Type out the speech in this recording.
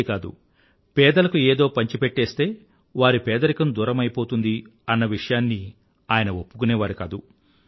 ఇంతే కాదు పేదలకు ఏదో పంచిపెట్టేస్తే వారి పేదరికం దూరమయిపోతుంది అన్న విషయాన్ని ఆయన ఒప్పుకునేవారు కాదు